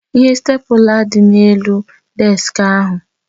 Ihe stèpula dị n'elu deski ahụ